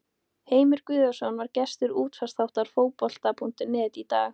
Heimir Guðjónsson var gestur útvarpsþáttar Fótbolta.net í dag.